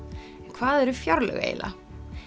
hvað eru fjárlög eiginlega